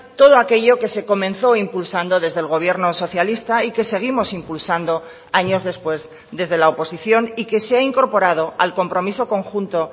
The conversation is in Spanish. todo aquello que se comenzó impulsando desde el gobierno socialista y que seguimos impulsando años después desde la oposición y que se ha incorporado al compromiso conjunto